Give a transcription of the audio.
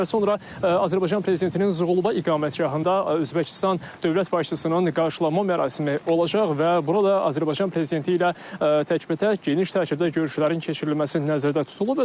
Bir qədər sonra Azərbaycan prezidentinin Zuğulbə iqamətgahında Özbəkistan dövlət başçısının qarşılanma mərasimi olacaq və burada Azərbaycan prezidenti ilə təkbətək geniş tərkibdə görüşlərin keçirilməsi nəzərdə tutulub.